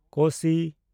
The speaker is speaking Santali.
ᱠᱳᱥᱤ